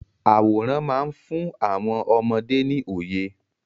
Àwòrán má ń fún àwọn ọmọdé ní òye.